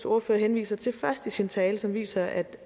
ordfører henviser til først i sin tale som viser at